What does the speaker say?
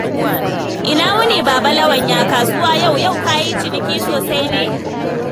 Ina wuni Baba Lawan, ya kasuwa yau? Yau ka yi ciniki sosai ne?